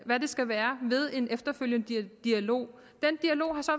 hvad det skal være ved en efterfølgende dialog den dialog har så